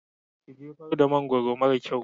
Ki jefar da mangwaro mara kyau!